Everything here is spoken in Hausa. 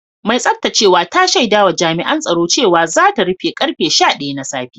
Mai tsaftacewa ta shaida wa Jami’an tsaro cewa za ta rufe da karfe sha daya na safe